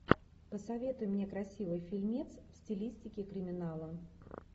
посоветуй мне красивый фильмец в стилистике криминала